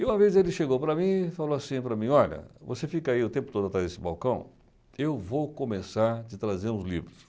E uma vez ele chegou para mim e falou assim para mim, olha, você fica aí o tempo todo atrás desse balcão, eu vou começar a te trazer uns livros.